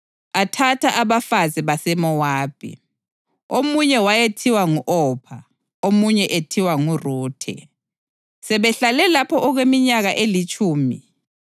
Athatha abafazi baseMowabi, omunye wayethiwa ngu-Opha omunye ethiwa nguRuthe. Sebehlale lapho okweminyaka elitshumi,